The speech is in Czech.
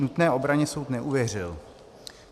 Nutné obraně soud neuvěřil."